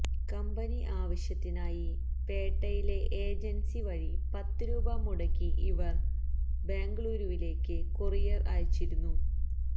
company ആവശ്യത്തിനായി പേട്ടയിലെ agency വഴി പത്ത് രൂപ മുടക്കി ഇവർ ബംഗളൂരുവിലേക്ക് കൊറിയർ അയച്ചിരുന്നു